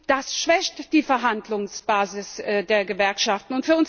Das schwächt die Verhandlungsbasis der Gewerkschaften.